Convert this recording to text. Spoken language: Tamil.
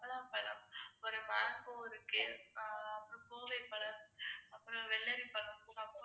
mango இருக்கு, ஆஹ் அப்புறம் கோவைப்பழம், அப்புறம் வெள்ளரிப்பழம்